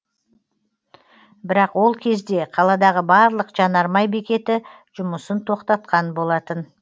бірақ ол кезде қаладағы барлық жанармай бекеті жұмысын тоқтатқан болатын